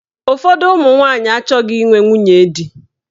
Ụfọdụ ụmụnwanyị achọghị inwe nwunye di.